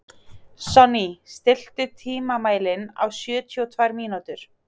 Sonný, stilltu tímamælinn á sjötíu og tvær mínútur.